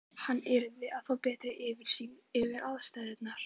Hann yrði að fá betri yfirsýn yfir aðstæðurnar.